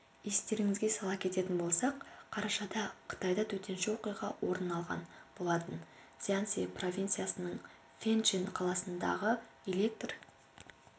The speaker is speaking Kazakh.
естеріңізге сала кететін болсақ қарашада қытайда төтенше оқиға орын алған болатын цзянси провинциясының фэнчэн қаласындағы электр